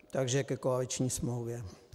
Takže ke koaliční smlouvě.